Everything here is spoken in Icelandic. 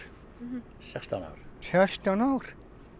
sextán ár sextán ár